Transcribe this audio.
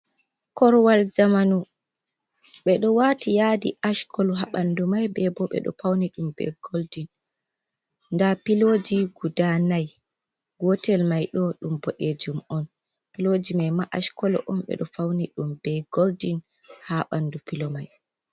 Korowal zamanu, ɓe dyo waati yaadi ash kolu haa ɓanndu mai, bee bo ɓe ɗo paeni ɗum bee goldin, ndaa pilooji guda nayi, gootel may ɗo ɗum boɗeejum on. pilooji may ma ash kolo on ɓe ɗo fawni ɗum bee goldin haa ɓanndu pilo mai.